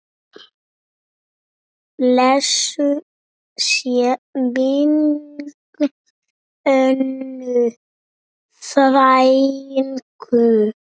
Blessuð sé minning Önnu frænku.